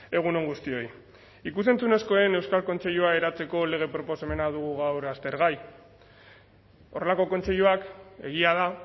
egun on guztioi ikus entzunezkoen euskal kontseilua eratzeko lege proposamena dugu gaur aztergai horrelako kontseiluak egia da